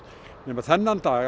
nema þennan dag